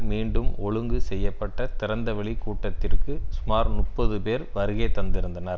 மீண்டும் ஒழுங்கு செய்ய பட்ட திறந்த வெளி கூட்டத்திற்கு சுமார் முப்பது பேர் வருகைதந்திருந்தனர்